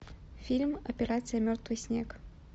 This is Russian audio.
фильм операция мертвый снег